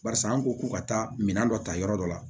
Barisa an ko ko ka taa minɛn dɔ ta yɔrɔ dɔ la